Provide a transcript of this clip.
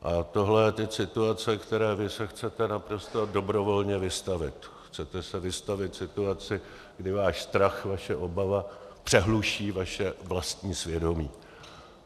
A tohle je teď situace, které vy se chcete naprosto dobrovolně vystavit, chcete se vystavit situaci, kdy váš strach, vaše obava přehluší vaše vlastní svědomí.